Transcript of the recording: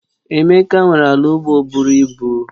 Emeka nwere ala ugbo buru ibu